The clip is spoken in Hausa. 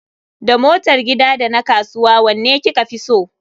Da motar gida da na kasuwa wanne kika fi so?